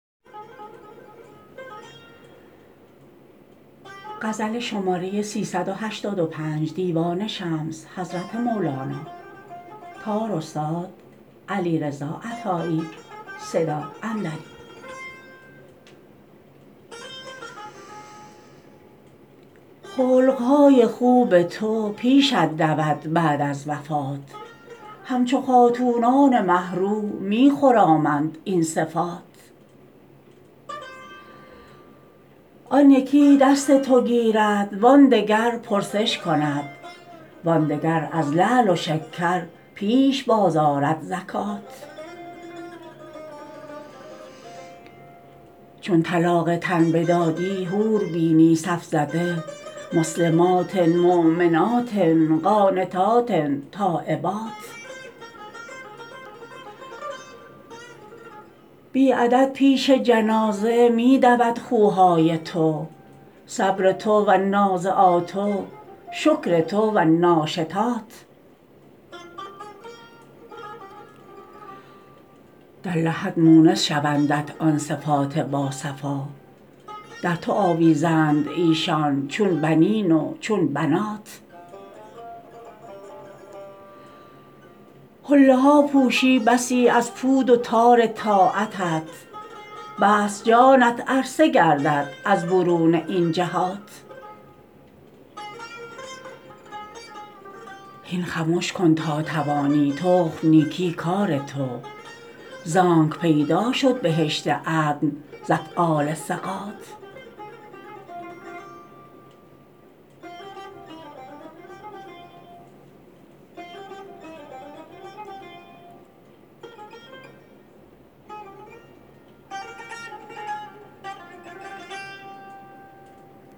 خلق های خوب تو پیشت دود بعد از وفات همچو خاتونان مه رو می خرامند این صفات آن یکی دست تو گیرد وان دگر پرسش کند وان دگر از لعل و شکر پیش بازآرد زکات چون طلاق تن بدادی حور بینی صف زده مسلمات مؤمنات قانتات تایبات بی عدد پیش جنازه می دود خوهای تو صبر تو و النازعات و شکر تو و الناشطات در لحد مونس شوندت آن صفات باصفا در تو آویزند ایشان چون بنین و چون بنات حله ها پوشی بسی از پود و تار طاعتت بسط جانت عرصه گردد از برون این جهات هین خمش کن تا توانی تخم نیکی کار تو زانک پیدا شد بهشت عدن ز افعال ثقات